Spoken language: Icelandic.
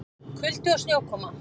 Kuldi og snjókoma